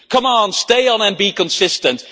Come on, stay on and be consistent!